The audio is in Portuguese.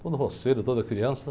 Todo roceiro, toda criança.